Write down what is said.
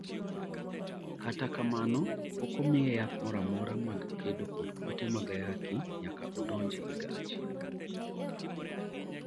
kata kamano, pok omiye yath moro amora mag kedo kod kute mag ayaki nyaka odonj higa achiel